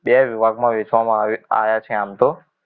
બે વિભાગમાં વહેંચવામાં આયા આવ્યા છે આમ તો